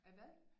Ahvad?